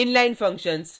inline functions: